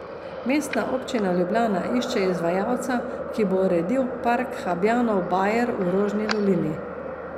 Mestna občina Ljubljana išče izvajalca, ki bo uredil park Habjanov bajer v Rožni dolini.